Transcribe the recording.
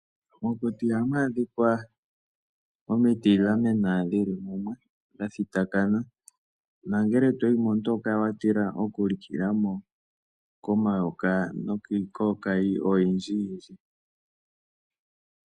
Mokuti ohamu adhika omiti dha mena dhili mumwe, dha thitakana nongele toyi mo, omuntu oho kala wa tila oku likila mo komayoka nokiikookayi oyindji yindji.